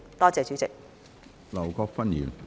多謝主席。